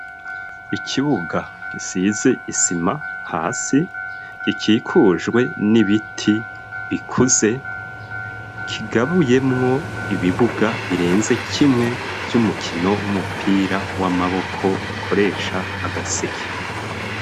Ikibuga gisize isima hasi, gikikujwe n'ibiti bikuze. Kigabuyemwo ibibuga birenze kimwe vy'umukino w'umupira w'amaboko bakoresha agaseke.